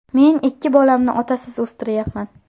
Men ikki bolamni otasiz o‘stiryapman.